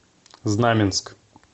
знаменск